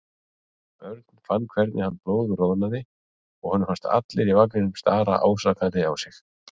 Örn fann hvernig hann blóðroðnaði og honum fannst allir í vagninum stara ásakandi á sig.